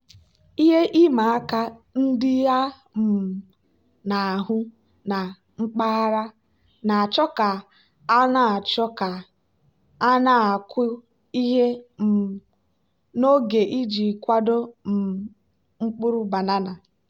ihe ịma aka ndị a um na-ahụ na mpaghara na-achọ ka a na-achọ ka a na-akụ ihe um n'oge iji kwado um mkpụrụ banana.